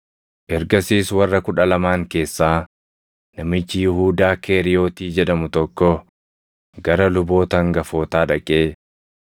Ergasiis warra Kudha Lamaan keessaa namichi Yihuudaa Keeriyotii jedhamu tokko gara luboota hangafootaa dhaqee,